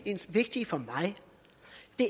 vigtige for mig